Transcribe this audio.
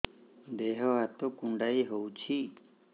ଦେହ ହାତ କୁଣ୍ଡାଇ ହଉଛି